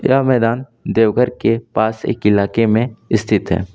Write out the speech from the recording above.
यह मैदान देवघर के पास एक इलाके में इस्थित है।